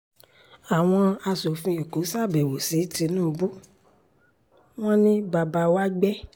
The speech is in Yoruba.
àwọn aṣòfin èkó ṣàbẹ̀wò sí tinubu wọn ni bàbá wa gbẹ́